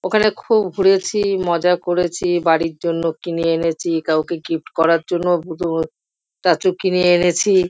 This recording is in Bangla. ওখানে খুব ঘুরেছি মজা করেছি বাড়িরই জন্য কিনে এনেছি কাউকে গিফট করা জন্যও স্টাচু কিনে এনেছি।